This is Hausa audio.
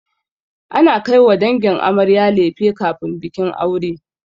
Ana kaiwa dangin amarya lefe kafin bikin aure.